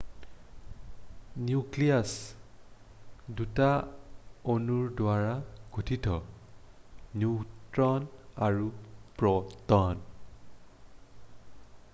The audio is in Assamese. নিউক্লিয়াছ 2টা অনুৰ দ্বাৰা গঠিত নিউট্ৰন আৰু প্ৰ'টন